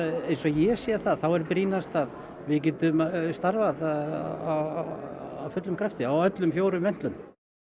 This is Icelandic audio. eins og ég sé það er brýnast að við getum starfað af fullum krafti á öllum fjórum ventlum